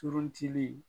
Turuntigi